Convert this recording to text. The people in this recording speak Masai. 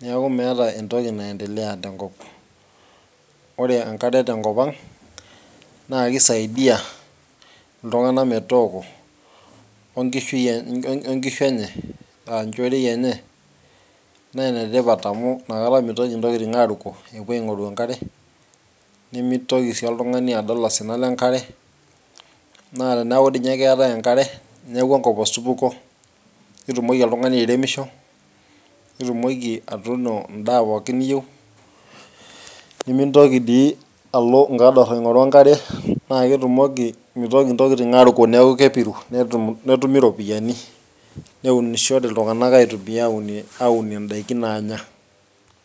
neeku meeta entoki naendelea tenkop. ore enkare tenkop ang naa kisaidia, iltungana metooko, onkishu enye, aa nchoroi enye, naa ene tipat amu ina kata mitoki intokitin aaruko epuo aing'oru enkare, nimitoki sii oltungani adol osina lenkare. naa teneeku dii ninye keetae osina lenkare. neeku enkop osupuko. nitumoki oltungani airemisho, nitumoki atuuno daa pooki niyieu, nimintoki dii alo nkador aingoru enkare. naa ketumoki, mitoki ntokitin aaruko, neeku kepiru, netumi ropiyiani. neunishore iltungana aitumia aunie daikin naanya.